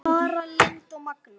Tara Lynd og Magnús.